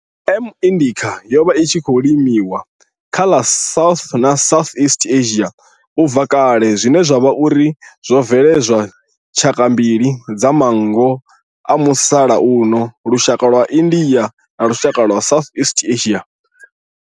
M. indica yo vha i tshi khou limiwa kha ḽa South na South east Asia ubva kale zwine zwa vha uri zwo bveledza tshaka mbili dza manngo dza musalauno lushaka lwa India na lushaka lwa South east Asia.